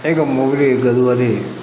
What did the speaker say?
E ka mɔbili ye gawusu ye